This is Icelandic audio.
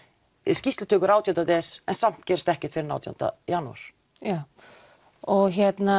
skýrslutökur átján des en samt gerist ekkert fyrr en átján janúar já og